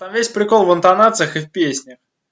весь прикол в интонациях и песни